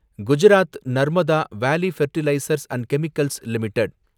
Gujarat Narmada valley fertilisers and chemicals limited